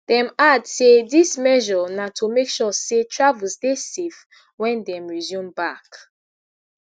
dem add say dis measure na to make sure say travels dey safe wen dem resume back